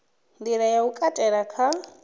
nḓila ya u katela kha